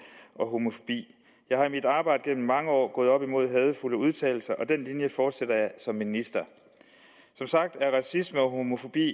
og homofobi jeg er i mit arbejde gennem mange år gået op imod hadefulde udtalelser og den linje fortsætter jeg som minister som sagt er racisme og homofobi